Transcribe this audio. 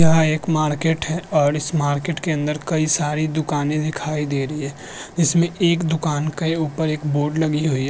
यह एक मार्केट है और इस मार्केट के अंदर कई सारी दुकानें दिखाई दे रही है। इसमें एक दुकान कय् ऊपर एक बोर्ड लगी हुई --